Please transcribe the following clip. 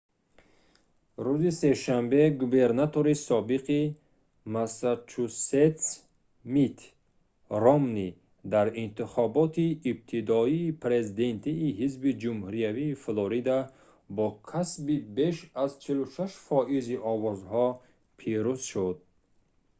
рӯзи сешанбе губернатори собиқи массачусетс митт ромнӣ дар интихоботи ибтидоии президентии ҳизби ҷумҳуриявии флорида бо касби беш аз 46 фоизи овозҳо пирӯз шуд